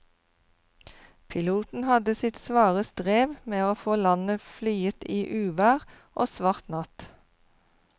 Piloten hadde sitt svare strev med å få landet flyet i uvær og svart natt.